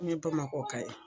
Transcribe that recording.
Nye Bamakɔ ka ye.